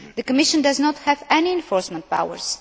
The Commission does not have any enforcement powers